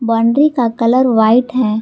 Boundary colour कलर वाइट हैं।